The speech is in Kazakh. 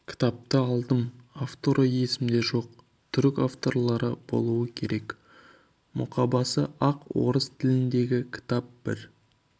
кітапты алдым авторы есімде жоқ түрік авторлары болу керек мұқабасы ақ орыс тіліндегі кітап бір